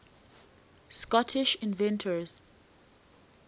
scottish inventors